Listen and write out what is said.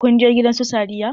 Kun je gidan su Sadiya?